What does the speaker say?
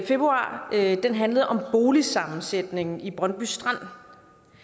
februar handlede om boligsammensætningen i brøndby strand